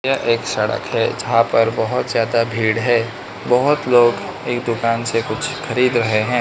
यह एक सड़क है जहां पर बहोत ज्यादा भीड़ है बहोत लोग एक दुकान से कुछ खरीद रहें हैं।